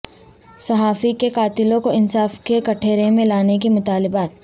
صحافی کے قاتلوں کو انصاف کے کٹہرے میں لانے کے مطالبات